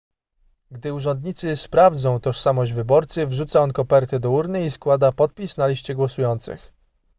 gdy urzędnicy sprawdzą tożsamość wyborcy wrzuca on kopertę do urny i składa podpis na liście głosujących